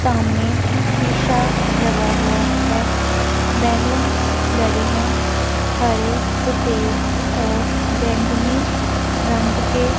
सामने शीशा लगा हुआ है बलूंस लगे हैं हरे सफेद और बैंगनी रंग के--